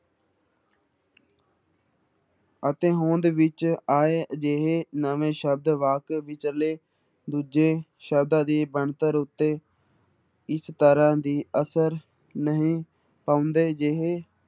ਅਤੇ ਹੋਂਦ ਵਿੱਚ ਆਏ ਅਜਿਹੇ ਨਵੇਂ ਸ਼ਬਦ ਵਾਕ ਵਿੱਚਲੇ ਦੂਜੇ ਸ਼ਬਦਾਂ ਦੀ ਬਣਤਰ ਉੱਤੇ ਇਸ ਤਰ੍ਹਾਂ ਦੀ ਅਸਰ ਨਹੀਂ ਪਾਉਂਦੇ ਜਿਹੇ